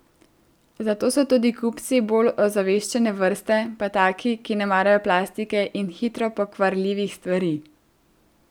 Zato so tudi kupci bolj ozaveščene vrste, pa taki, ki ne marajo plastike in hitro pokvarljivih stvari.